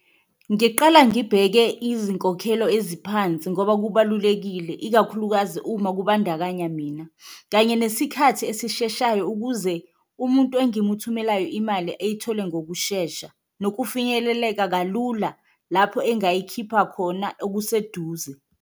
Ngiqala ngibheke izinkokhelo eziphansi ngoba kubalulekile ikakhulukazi uma kubandakanya mina kanye nesikhathi esisheshayo, ukuze umuntu engimuthumelayo imali eyithole ngokushesha. Nokufinyeleleka kalula lapho engayikhipha khona okuseduze.